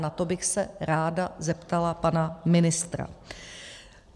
Na to bych se ráda zeptala pana ministra.